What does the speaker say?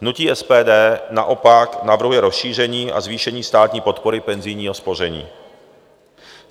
Hnutí SPD naopak navrhuje rozšíření a zvýšení státní podpory penzijního spoření.